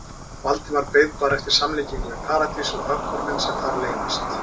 Valdimar beið bara eftir samlíkingu við Paradís og höggorminn sem þar leyndist.